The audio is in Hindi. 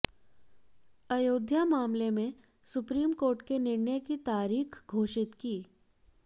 अयोध्या मामले में सुप्रीम कोर्ट ने निर्णय की तारीख घोषित की